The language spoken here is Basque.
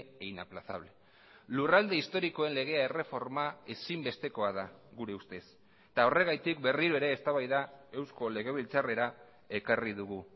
e inaplazable lurralde historikoen legea erreforma ezinbestekoa da gure ustez eta horregatik berriro ere eztabaida eusko legebiltzarrera ekarri dugu